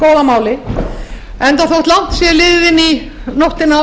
langt sé liðið inn í nóttina